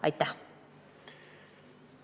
Aitäh!